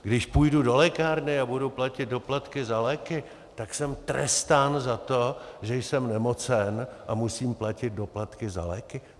Když půjdu do lékárny a budu platit doplatky za léky, tak jsem trestán za to, že jsem nemocen a musím platit doplatky za léky?